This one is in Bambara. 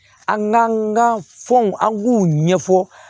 An ka fɛnw an k'u ɲɛfɔ